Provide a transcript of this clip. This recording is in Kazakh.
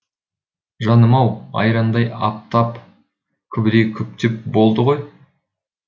жаным ау айрандай аптап күбідей күптеп болды ғой